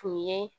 Tun ye